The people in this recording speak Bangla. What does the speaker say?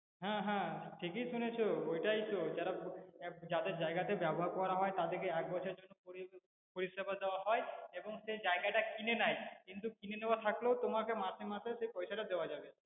হ্যাঁ হ্যাঁ ঠিকই শুনেছো ওটাই তো যাদের জায়গাতে ব্যবহার করা হয় তাদের কে এক বছরের জন্য পরিষেবা দেওয়া হয় এবং সেই জায়গাটা কিনে নেয় কিন্তু কিনে নেওয়া থাকলেও তোমাকে মাসে মাসে সেই পয়সাটা দেওয়া যাবে